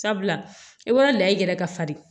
Sabula e b'a la i yɛrɛ ka farin